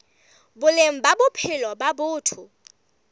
boleng ba bophelo ba batho